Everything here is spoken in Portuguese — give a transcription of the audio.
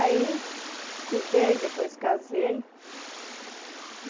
Aí estudei, depois casei.